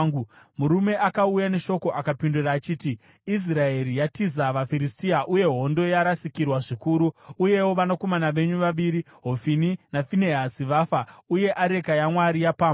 Murume akauya neshoko akapindura achiti, “Israeri yatiza vaFiristia, uye hondo yarasikirwa zvikuru. Uyewo vanakomana venyu vaviri Hofini naFinehasi vafa, uye areka yaMwari yapambwa.”